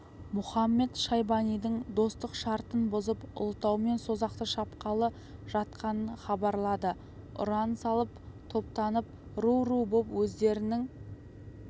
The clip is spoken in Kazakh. мұхамед-шайбанидың достық шартын бұзып ұлытау мен созақты шапқалы жатқанын хабарлады ұран салып топтанып ру-ру боп өздерінің